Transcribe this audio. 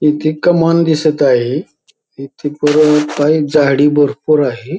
इथे कमान दिसत आहे इथे परत कही झाडी भरपूर आहे.